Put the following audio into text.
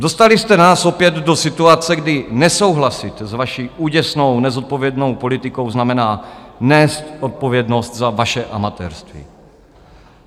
Dostali jste nás opět do situace, kdy nesouhlasit s vaší úděsnou nezodpovědnou politikou znamená nést odpovědnost za vaše amatérství.